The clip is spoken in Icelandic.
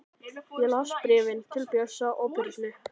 Ég las bréfin til Bjössa og Birnu.